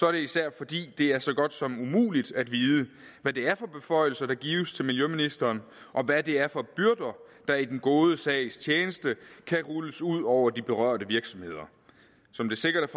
er det især fordi det er så godt som umuligt at vide hvad det er for beføjelser der gives til miljøministeren og hvad det er for byrder der i den gode sags tjeneste kan rulles ud over de berørte virksomheder som det sikkert